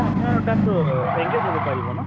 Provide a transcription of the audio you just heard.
আপোনাৰ তাত engage হব পাৰিব ন